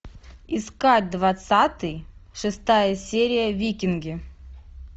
искать двадцатый шестая серия викинги